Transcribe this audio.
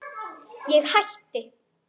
Ég hætti.